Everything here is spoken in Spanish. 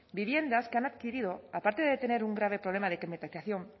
viviendas que han adquirido aparte de tener un grave problema de climatización